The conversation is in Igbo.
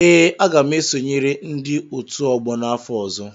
Ee, aga m esonyere ndị otu ọgbọ n'afọ ọzọ.